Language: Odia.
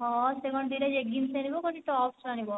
ହଁ ସେ କଣ ଦିଟା leggings ଆଣିବ କହୁଛି tops ଆଣିବ